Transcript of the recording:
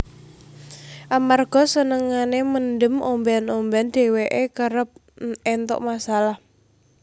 Amarga senengane mendem omben omben dheweke kerep entuk masalah